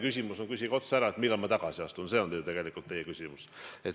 Küsige siis otse ära, millal ma tagasi astun, see on ju tegelikult teie küsimus.